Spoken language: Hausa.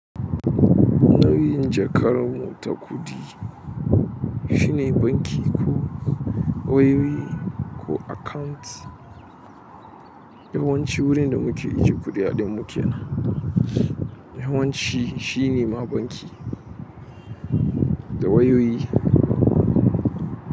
Na yi jakar mu ta kuɗi shi ne banki ko wayoyi ko account yawanci wurin da muke ajiye kuɗaɗen mu kenan, yawanci shi ne ma banki da wayoyi.